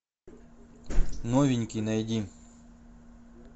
новенький найди